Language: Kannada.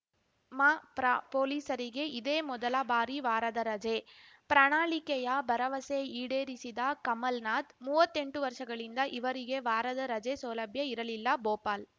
ಮಪ್ರ ಪೊಲೀಸರಿಗೆ ಇದೇ ಮೊದಲ ಬಾರಿ ವಾರದ ರಜೆ ಪ್ರಣಾಳಿಕೆಯ ಭರವಸೆ ಈಡೇರಿಸಿದ ಕಮಲ್‌ನಾಥ್‌ ಮೂವತ್ತೆಂಟು ವರ್ಷಗಳಿಂದ ಇವರಿಗೆ ವಾರದ ರಜೆ ಸೌಲಭ್ಯ ಇರಲಿಲ್ಲ ಭೋಪಾಲ್‌